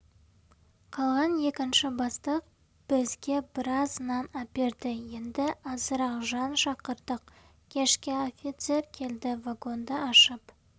қалған екінші бастық бізге біраз нан әперді енді азырақ жан шақырдық кешке офицер келді вагонды ашып